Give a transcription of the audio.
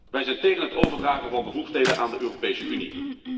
Wij zijn tegen het overdragen van bevoegdheden aan de Europese Unie.